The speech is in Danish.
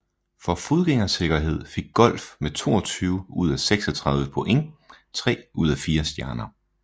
For fodgængersikkerhed fik Golf med 22 ud af 36 point tre ud af fire stjerner